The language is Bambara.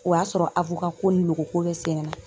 O y'a sɔrɔ ko ni logo ko bɛ sen na.